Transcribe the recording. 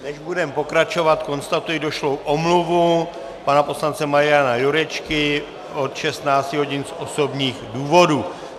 Než budeme pokračovat, konstatuji došlou omluvu pana poslance Mariana Jurečky od 16 hodin z osobních důvodů.